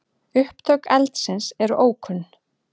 Upptök eldsins eru ókunn.